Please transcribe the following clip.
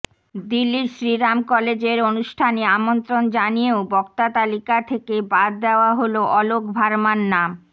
দিল্লির শ্রীরাম কলেজের অনুষ্ঠানে আমন্ত্রণ জানিয়েও বক্তা তালিকা থেকে বাদ দেওয়া হল অলোক ভার্মার নাম